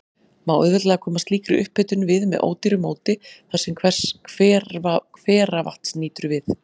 Má auðveldlega koma slíkri upphitun við með ódýru móti þar, sem hveravatns nýtur við.